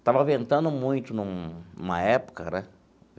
Estava ventando muito num numa época, né?